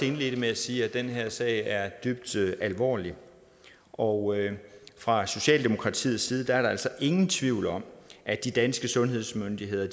indledte med at sige at den her sag er dybt alvorlig og fra socialdemokratiets side er der altså ingen tvivl om at de danske sundhedsmyndigheder